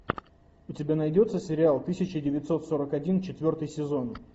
у тебя найдется сериал тысяча девятьсот сорок один четвертый сезон